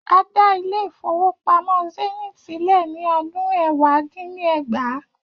A dá Ilé-ìfowópamó Zenith sílè ni ọdún ẹ̀wá dín ní ẹgbàá.